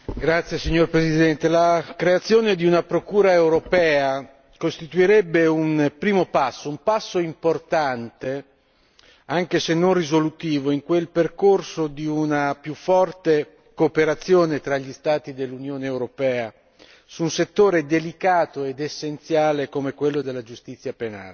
Signora Presidente, onorevoli colleghi, la creazione di una procura europea costituirebbe un primo passo, un passo importante anche se non risolutivo in quel percorso di una più forte cooperazione tra gli Stati dell'Unione europea su un settore delicato ed essenziale come quello della giustizia penale.